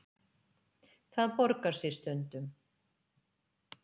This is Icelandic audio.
Það borgar sig stundum.